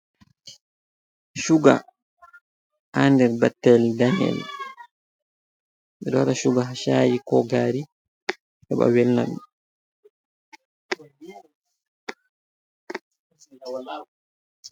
chuga ha nyder ɓattel ɗaneyel ,ɓe ɗo waɗa chuga ha shaayi ko gari heɓa velna ɗum.